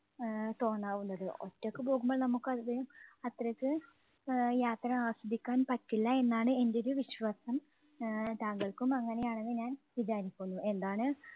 ആഹ് തോന്നാവുന്നത്. ഒറ്റയ്ക്ക് പോകുമ്പോൾ നമുക്ക് അതിലെ അത്രയ്ക്ക് ആഹ് യാത്ര ആസ്വദിക്കാൻ പറ്റില്ല എന്നാണ് എൻറെ ഒരു വിശ്വാസം. ആഹ് താങ്കൾക്കും അങ്ങനെയാണെന്ന് ഞാൻ വിചാരിക്കുന്നു. എന്താണ്